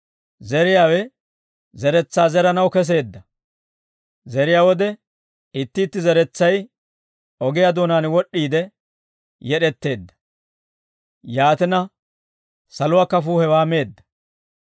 «Zeriyaawe zeretsaa zeranaw keseedda. Zeriyaa wode itti itti zeretsay, ogiyaa doonaan wod'd'iide yed'etteedda. Yaatina saluwaa kafuu hewaa meedda.